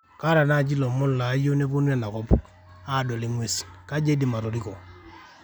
kaata naji lomon layieu nepuonu enakop adol inguesi ,kaji aidim atoriko